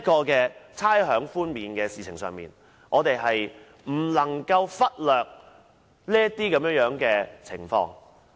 在差餉寬免一事上，我們不能忽略上述情況。